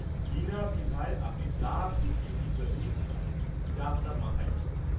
-বিনা দ্বিধায় আপনি যা খুশি জিজ্ঞেস করতে পারেন, যা আপনার মাথায় আসছে।